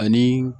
Ani